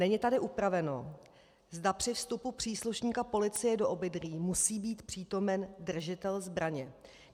Není tady upraveno, zda při vstupu příslušníka policie do obydlí musí být přítomen držitel zbraně.